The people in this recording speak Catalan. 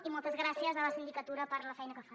i moltes gràcies a la sindicatura per la feina que fan